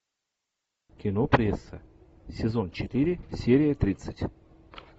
кино пресса сезон четыре серия тридцать